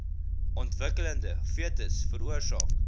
ontwikkelende fetus veroorsaak